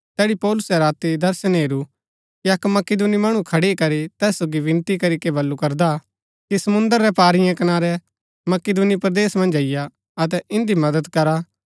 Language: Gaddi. तैड़ी पौलुसै राती दर्शन हेरू कि अक्क मकिदुनी मणु खड़ी करी तैस सोगी विनती करीके बल्लू करदा कि समुंद्र रै पारीयें कनारै मकिदुनी परदेस मन्ज अईआ अतै इन्दी मदद करा